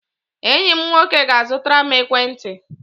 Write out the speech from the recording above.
Enyi m nwoke ga-azụtara m ekwentị.